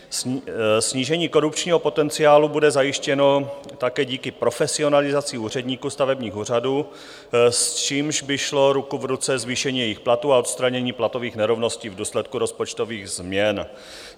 Snížení korupčního potenciálu bude zajištěno také díky profesionalizaci úředníků stavebních úřadů, s čímž by šlo ruku v ruce zvýšení jejich platů a odstranění platových nerovností v důsledku rozpočtových změn.